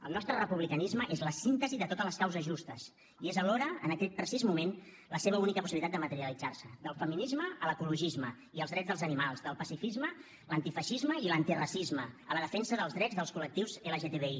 el nostre republicanisme és la síntesi de totes les causes justes i és alhora en aquest precís moment la seva única possibilitat de materialitzar se del feminisme a l’ecologisme i els drets dels animals del pacifisme l’antifeixisme i l’antiracisme a la defensa dels drets dels col·lectius lgtbi